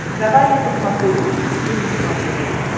давай я посмотрю русский экстрим на смотрешке